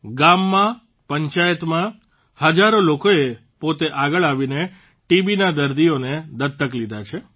ગામમાં પંચાયતમાં હજારો લોકોએ પોતે આગળ આવીને ટીબીના દર્દીઓને દત્તક લીધા છે